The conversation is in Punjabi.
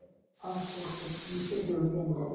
okay okay okay institute ਦੇ ਅੰਦਰ